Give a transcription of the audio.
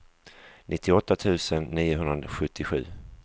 nittioåtta tusen niohundrasjuttiosju